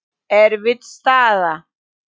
Erfið staða.